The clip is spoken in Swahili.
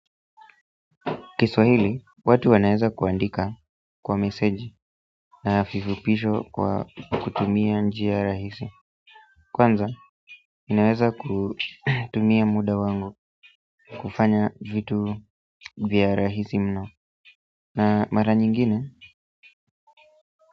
Kiswahili, watu wanaeza kuandika kwa meseji na vifupisho kwa kutumia njia rahisi. Kwanza, inaeza kutumia muda wangu kufanya vitu vya rahisi mno. Na mara nyingine,